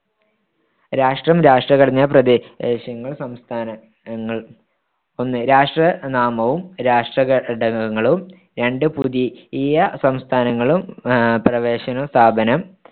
രാഷ്‌ട്രം രാഷ്‌ട്രഘടന പ്രദേശങ്ങൾ സംസ്‌ഥാനങ്ങൾ ഒന്ന് രാഷ്‌ട്ര നാമവും രാഷ്‌ട്രഘടകങ്ങളും രണ്ട് പുതിയ സംസ്ഥാനങ്ങളും അഹ് പ്രവേശന സ്‌ഥാപനം